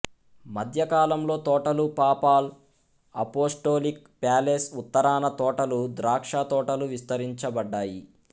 మధ్యకాలంలో తోటలు papal apostolic palace ఉత్తరాన తోటలు ద్రాక్ష తోటలు విస్తరించబడ్డాయి